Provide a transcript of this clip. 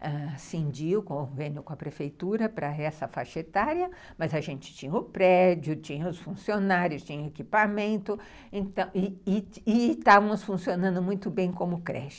ãh cindir o convênio com a prefeitura para essa faixa etária, mas a gente tinha o prédio, tinha os funcionários, tinha equipamento, e estávamos funcionando muito bem como creche.